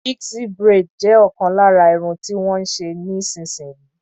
Pixie braid jẹ ọkan lára Irun tí wón ń ṣe níì sin yìí.